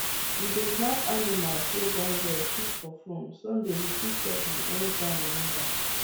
we dey snap animals wey born well keep for phone sunday we fit check am anytime we need am